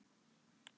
Gott á mig.